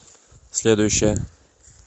следующая